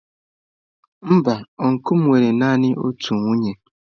Mba ọncụl m nwere naanị otu nwunye.